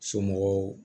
Somɔgɔw